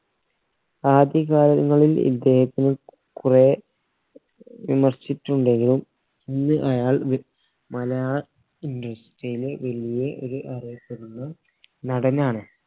ആദ്യ കാലങ്ങളിൽ ഇദ്ദേഹത്തിന് കുറെ ഏർ വിമർശിച്ചുണ്ടെങ്കിലും ഇന്ന് അയാൾ ഏർ മലയാള industry യിലെ വലിയെ ഒരു അറിയപ്പെടുന്ന നടനാണ്